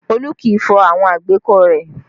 Olu kì í fọ àwọn àgbékọ̀ rẹ